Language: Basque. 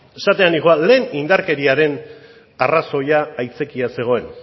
esatera nindoan lehen indarkeriaren aitzakia zegoen